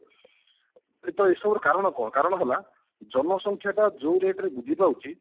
ତ ଏସବୁର କାରଣ କଣ କାରଣ ହେଲା ଜନସଂଖ୍ୟା ଟା ଯୋଉ ରେଟ ରେ ବୃଦ୍ଧି ପାଉଛି